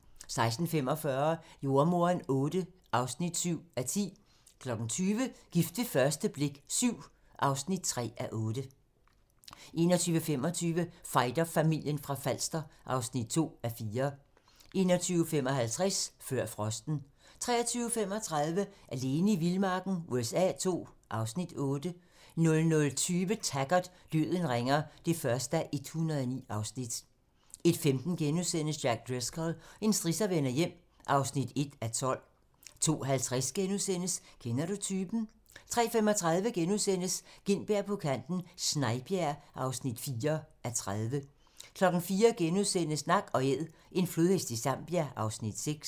16:45: Jordemoderen VIII (7:10) 20:00: Gift ved første blik VII (3:8) 21:25: Fighterfamilien fra Falster (2:4) 21:55: Før frosten 23:35: Alene i vildmarken USA II (Afs. 8) 00:20: Taggart: Døden ringer (1:109) 01:15: Jack Driscoll - en strisser vender hjem (1:12)* 02:50: Kender du typen? * 03:35: Gintberg på kanten - Snejbjerg (4:30)* 04:00: Nak & æd - en flodhest i Zambia (Afs. 6)*